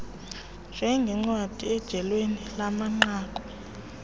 njengncwadi ijenali yamanqaku